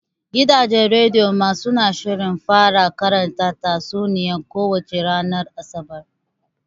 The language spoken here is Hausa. Gidajen rediyo ma suna shirin fara karanta tatsuniya ko wace ranar Asabar.